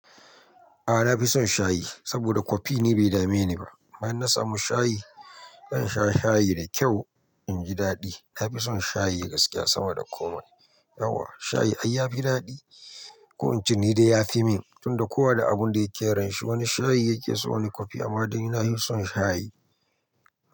Aa na fi son shayi saboda kofi ni be dame ni ba. Ma in na samu shayi, zan sha shayi da kyau in ji daɗi. Na fi son shayi gaskiya sama da komai. Yauwa shayi ai ya fi daɗi. Ko inceni de ya fi min tunda kowa da abun da yake ranshi. Wani shayi yake so wani kofi amma de nina hi son shayi.